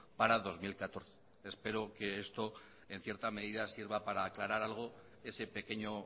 para dos mil catorce espero que esto en cierta medida sirva para aclarar algo ese pequeño